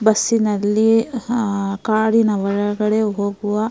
ಬಸ್ಸಿನಲ್ಲಿ ಅಹ್ ಅಹ್ ಕಾಡಿನ ಒಳಗಡೆ ಹೋಗುವ --